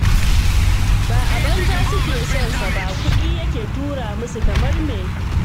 Ba a banza suke sonsa ba, kuɗi yake tura musu kamar me